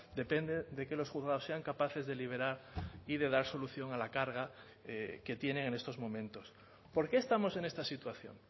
depende de que los juzgados sean capaces de liberar y de dar solución a la carga que tienen en estos momentos por qué estamos en esta situación